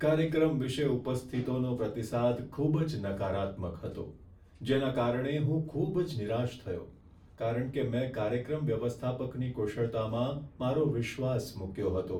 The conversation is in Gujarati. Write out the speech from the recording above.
કાર્યક્રમ વિશે ઉપસ્થિતોનો પ્રતિસાદ ખૂબ જ નકારાત્મક હતો, જેના કારણે હું ખૂબ જ નિરાશ થયો કારણ કે મેં કાર્યક્રમ વ્યવસ્થાપકની કુશળતામાં મારો વિશ્વાસ મૂક્યો હતો.